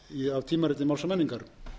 af tímariti máls og menningar